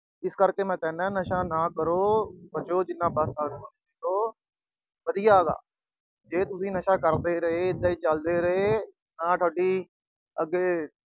ਇਸ ਕਰਕੇ ਮੈਂ ਕਹਿੰਦਾ ਨਸ਼ਾ ਨਾ ਕਰੋ, ਬਚੋ ਜਿੰਨਾ ਬਚ ਸਕਦੇ ਓ ਬਚੋ। ਵਧੀਆ ਗਾ। ਜੇ ਤੁਸੀਂ ਨਸ਼ਾ ਕਰਦੇ ਰਹੇ ਇਦਾਂ ਹੀ ਚਲਦੇ ਰਹੇ, ਤਾਂ ਤੁਹਾਡੀ ਅੱਗੇ